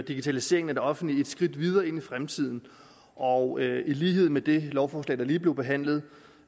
digitaliseringen af det offentlige et skridt videre ind i fremtiden og i lighed med det lovforslag der lige blev behandlet